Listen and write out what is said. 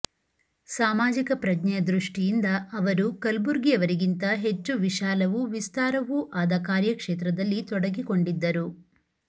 ಸಾಮಾಜಿಕ ಪ್ರಜ್ಞೆಯ ದೃಷ್ಟಿಯಿಂದ ಅವರು ಕಲಬುರ್ಗಿಯವರಿಗಿಂತ ಹೆಚ್ಚು ವಿಶಾಲವೂ ವಿಸ್ತಾರವೂ ಆದ ಕಾರ್ಯಕ್ಷೇತ್ರದಲ್ಲಿ ತೊಡಗಿಕೊಂಡಿದ್ದರು